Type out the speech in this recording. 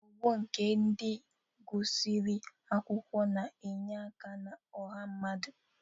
Ọgbọ nke ndị gụsịrị akwụkwọ na-enye aka na ọha mmadụ.